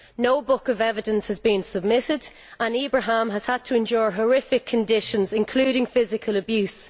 No book of evidence has been submitted and Ibrahim has had to endure horrific conditions including physical abuse.